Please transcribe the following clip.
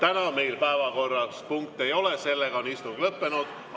Täna meil päevakorras punkte ei ole, istung on lõppenud.